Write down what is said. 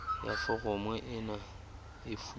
ya foromo ena e fuwe